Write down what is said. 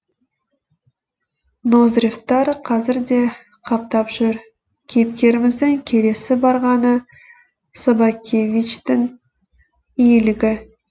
ноздревтар қазір де қаптап жүр кейіпкеріміздің келесі барғаны собакевичтің иелігі